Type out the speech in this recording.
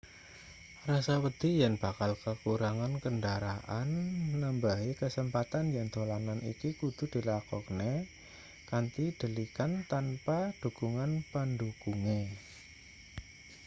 rasa wedi yen bakal kakurangan kendharaan nambahi kasempatan yen dolanan iki kudu dilakokne kanthi delikan tanpa dhukungan pendhukunge